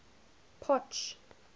potch